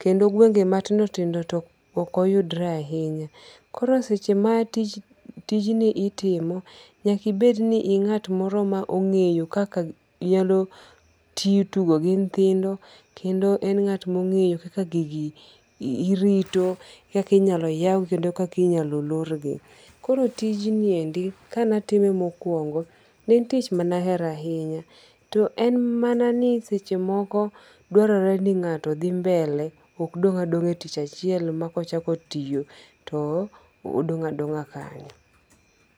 kendo guenge' matindo tindo to okoyudre ahinya koro seche ma tij tijni itimo nyaka ibed ni inga't moro ma onge'yo kaka nyalo tugo gi nyithindo kendo en nga't ma ongeyo kaka gigi irito , kaka inalo yaw kendo kaka inyalo lorgi koro tijni endi kanatime mokuongo en en tich mana hero ahinya to en manani sechemoko dwaroreni ngato dhi mbele okodong adonga e tich achiel ma kochako tiyo to odong adonga kanyo.